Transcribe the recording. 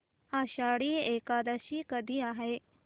आषाढी एकादशी कधी आहे